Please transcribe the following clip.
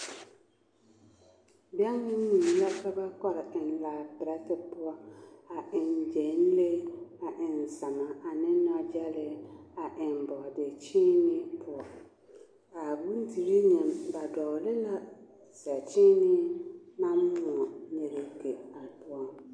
Bɛŋ ne mui la ka ba kɔre eŋ laa-pɛrɛtɛ poɔ a eŋ gyɛnlee a eŋ zama ane nɔgyɛlee a eŋ bɔɔdekyeenee poɔ, a bondirii nyɛ, ba dɔɔle la zɛkyeenee naŋ moɔ nyegeke a poɔ.